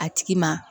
A tigi ma